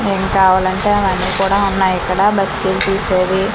ఏమి కావాలంటే అవన్నీ కూడా ఉన్నాయిక్కడ సేవి--